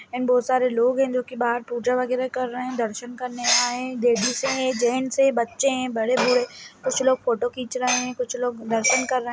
अन बहुत सारे लोग है जो की बहार पूजा वगेरा कर रहे है दर्शन करने आए है लडिसे है जेन्ट्स है बच्चे है बड़े-बुड़े कुछ लोग फोटो खिच रहे है कुछ लोग दर्शन कर रहे--